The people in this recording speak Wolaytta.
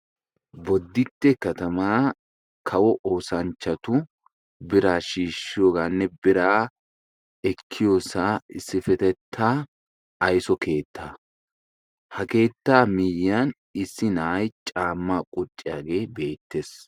Boditte katama kawo oosanchchatu bira shiishiyooganne biraa ekkiyoosa issipetetta aysso keettaa. Ha keettaa miyyiyan issi nay caama qucciyaage beettees.